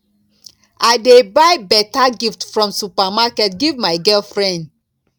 i dey buy beta gift from supermarket give my girlfriend